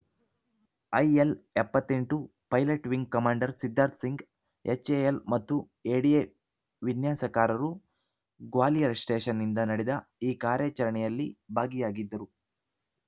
IL ಎಪ್ಪತ್ತ್ ಎಂಟು pilot wing commander Siddharth Singh HAL ಮತ್ತು ಎಡಿಎ ವಿನ್ಯಾಸಕಾರರು ಗ್ವಾಲಿಯರ್‌ ಸ್ಟೇಶನ್‌ನಿಂದ ನಡೆದ ಈ ಕಾರ್ಯಾಚರಣೆಯಲ್ಲಿ ಭಾಗಿಯಾಗಿದ್ದರು